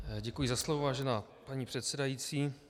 Děkuji za slovo, vážená paní předsedající.